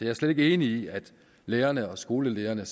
er slet ikke enig i at lærerne og skolelederne